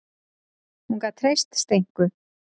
Og hún gat treyst Steinku.